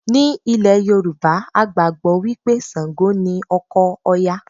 Ní ilẹ̀ Yorùbá, a gbàgbọ́ wí pé Ṣàǹgò ni ọkọ Òya